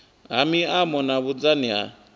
ha maimo na vhunzani ha